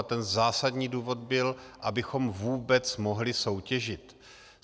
A ten zásadní důvod byl, abychom vůbec mohli soutěžit.